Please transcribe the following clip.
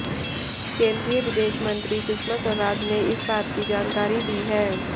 केंद्रीय विदेश मंत्री सुषमा स्वराज ने इस बात की जानकारी दी है